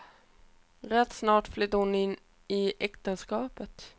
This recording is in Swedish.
Rätt snart flydde hon in i äktenskapet.